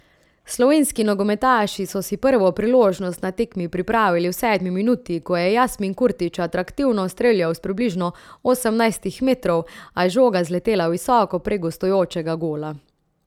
Slovenski nogometaši so si prvo priložnost na tekmi pripravili v sedmi minuti, ko je Jasmin Kurtič atraktivno streljal s približno osemnajstih metrov, a je žoga zletela visoko prek gostujočega gola.